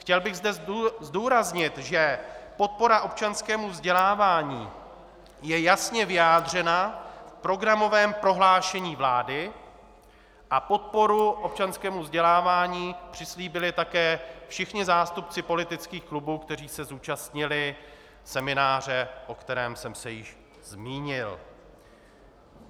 Chtěl bych zde zdůraznit, že podpora občanskému vzdělávání je jasně vyjádřena v programovém prohlášení vlády a podporu občanskému vzdělávání přislíbili také všichni zástupci politických klubů, kteří se zúčastnili semináře, o kterém jsem se již zmínil.